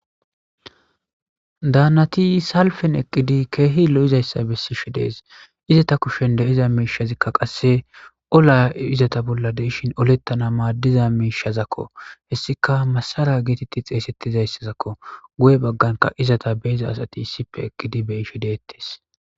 Daannathi salfen eqqidi keehi lo7izayssa bessishe dees; izetha kushen de7iza miishashzikka qasse olaa izatha bolla de7shin oleththana maaddiza miishazakko; hessika massaraa geetheththi xeeseththizayssazakko; guye bagganka izatha be7iza asathi isssippe eqqidi beyishe deeththes.